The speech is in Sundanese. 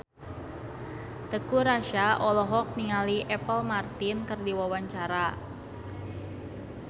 Teuku Rassya olohok ningali Apple Martin keur diwawancara